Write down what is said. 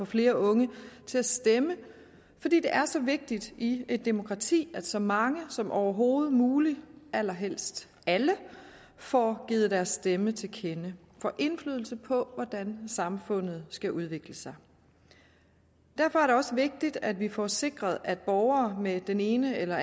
flere unge til at stemme fordi det er så vigtigt i et demokrati at så mange som overhovedet muligt allerhelst alle får givet deres stemme til kende får indflydelse på hvordan samfundet skal udvikle sig derfor er det også vigtigt at vi får sikret at alle borgere med den ene eller